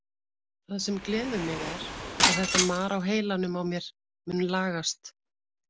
Það sem gleður mig er að þetta mar á heilanum á mér mun lagast.